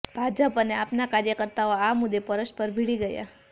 ભાજપ અને આપના કાર્યકર્તાઓ આ મુદ્દે પરસ્પર ભીડી ગયાં